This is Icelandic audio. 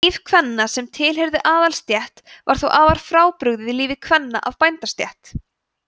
líf kvenna sem tilheyrðu aðalsstétt var þó afar frábrugðið lífi kvenna af bændastétt